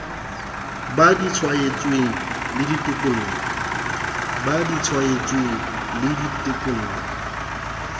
ba di tshwaetsweng le ditekolo